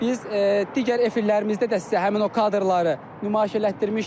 Biz digər efirlərimizdə də sizə həmin o kadrları nümayiş etdirmişdik.